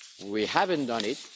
We haven't done it